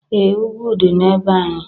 Ee! Ugwu dị na be anyị.